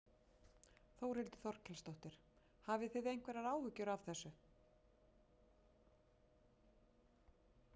Þórhildur Þorkelsdóttir: Hafið þið einhverjar áhyggjur af þessu?